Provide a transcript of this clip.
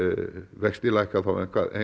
vextir lækka þá